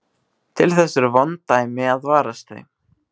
Til þess eru vond dæmi að varast þau.